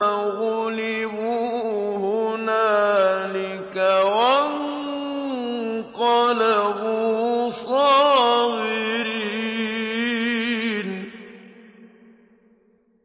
فَغُلِبُوا هُنَالِكَ وَانقَلَبُوا صَاغِرِينَ